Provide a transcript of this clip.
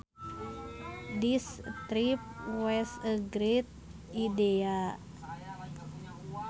This trip was a great idea